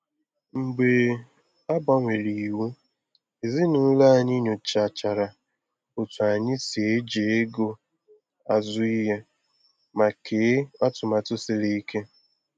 Mgbe a gbanwere iwu, ezinụlọ anyị nyochachara otu anyị si eji ego azu ihe, ma kee atụmatụ siri ike.